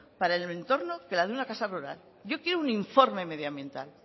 para el entorno que la de una casa rural yo quiero un informe medioambiental